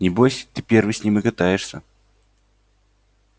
небось ты первый с ним и катаешься